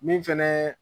Min fɛnɛ